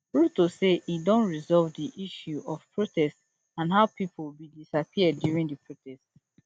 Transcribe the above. ruto say e don resolve di issue of protest and how pipo bin disappear during di protest